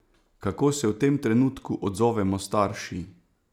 Kako se v tem trenutku odzovemo starši?